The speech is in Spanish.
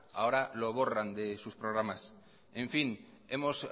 ahora lo borran de sus programas en fin hemos